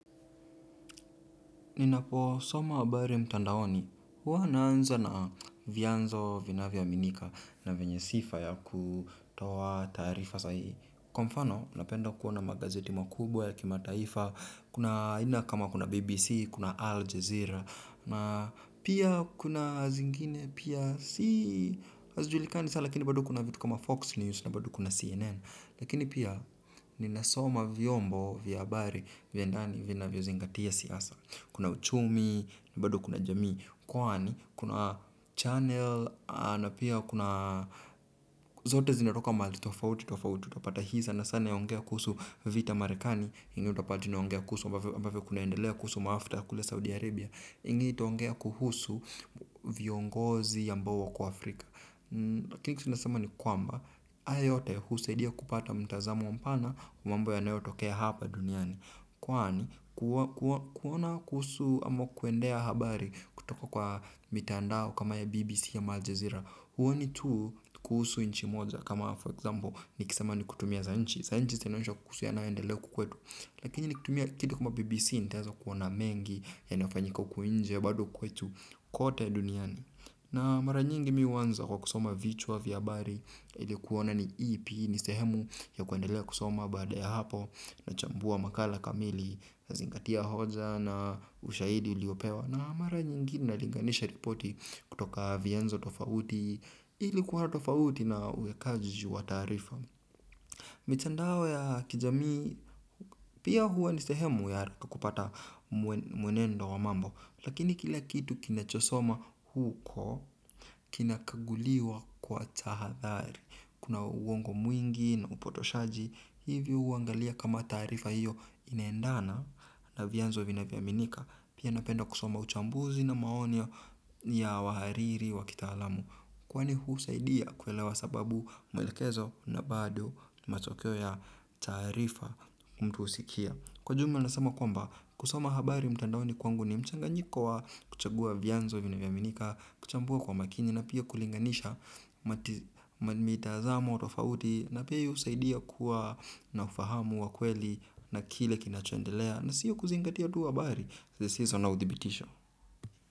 Ninapo soma habari mtandaoni, huwa naanza na vianzo vinavyo aminika na vyenye sifa yakutoa taarifa sahihi. Kwa mfano, unapenda kuona magazeti makubwa ya kimataifa, kuna aina kama kuna BBC, kuna Al Jazeera, na pia kuna zingine, pia si hazijulikani sana, lakini bado kuna vitu kama Fox News na bado kuna CNN. Lakini pia ninasoma vyombo vya habari vya ndani vinavyozingatia siasa kuna uchumi na bado kuna jamii kwani kuna channel na pia kuna zote zinatoka mahali tofauti tofauti utapata hii sana sana yaongea kuhusu vita marekani ingine utapata inaongea kuhusu ambavyo kunaendelea kuhusu mafta kule Saudi Arabia ingine itaongea kuhusu viongozi ambao wako Afrika. Lakini kitu nasema ni kwamba ayo yote husaidia kupata mtazamu mpana wa mambo yanayo tokea hapa duniani kwani kuona kuhusu ama kuendea habari kutoka kwa mitandao kama ya BBC ama aljezira huoni tu kuhusu nchi moja kama for example nikisema ni kutumia za nchi za nchi zinaonyeza kuhusu yanayoendelea huku kwetu. Lakini nikitumia kitu kama BBC nitaeza kuona mengi yanayofanyika huku nje bado kwetu kote duniani. Na mara nyingi mi huanza kwa kusoma vichwa vya habari ili kuona ni ipi ni sehemu ya kuendelea kusoma baada ya hapo na chambua makala kamili nazingatia hoja na ushahidi uliopewa na mara nyingi na linganisha ripoti kutoka vianzo tofauti ili kuwa tofauti na uwekaji wa taarifa. Mitandao ya kijamii, pia huwa ni sehemu ya haraka kupata mwenendo wa mambo, lakini kila kitu kinachosomwa huko, kinakaguliwa kwa tahadhari. Kuna uongo mwingi na upotoshaji, hivyo huangalia kama taarifa hiyo inaendana na vianzo vinavyo aminika. Pia napenda kusoma uchambuzi na maoni ya wahariri wa kitaalamu kwani husaidia kuelewa sababu mwelekezo na bado matokeo ya taarifa mtu husikia kwa jumla nasema kwamba kusoma habari mtandaoni kwangu ni mchanganyiko wa kuchagua vyanzo vinavyo aminika kuchambua kwa makini na pia kulinganisha mati mitazamo tofauti na pia hiyo husaidia kuwa na ufahamu wa kweli na kile kinachoendelea na sio kuzingatia tu habari zisizo na udhibitisho.